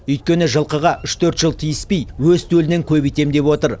өйткені жылқыға үш төрт жыл тиіспей өз төлінен көбейтем деп отыр